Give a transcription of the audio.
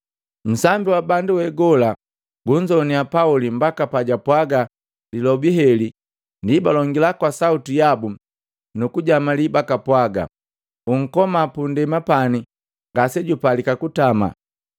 Nsambi wa bandu we gola gunzoanya Pauli mbaka pajapwaga lilobi heli ndi balongila kwa sauti yabu nukujamalii bakapwaga, “Unkoma pundema pani ngase jupalika kutama!”